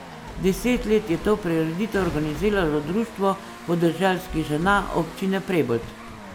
Deset let je to prireditev organiziralo Društvo podeželskih žena Občine Prebold.